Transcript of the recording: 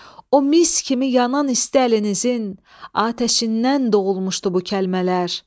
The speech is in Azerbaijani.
O mis kimi yanan isti əlinizin atəşindən doğulmuşdu bu kəlmələr.